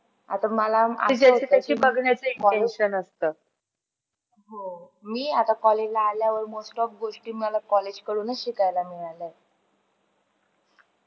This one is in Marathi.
मी आता college आल्यावर मला most of गोष्टी मला college कडूनच शिकायला मिळाल.